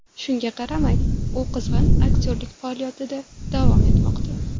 Shunga qaramay, u qizg‘in aktyorlik faoliyatida davom etmoqda.